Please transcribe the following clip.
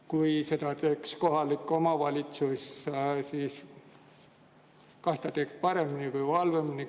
Kui seda teeks kohalik omavalitsus, kas ta otsustaks paremini või halvemini?